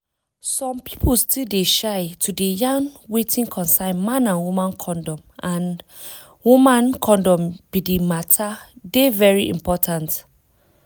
some pipo still dey shame to dey yarn wetin concern man and woman condom and woman condom but di matter dey very important.